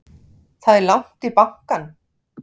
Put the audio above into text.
Það er langt í bankann!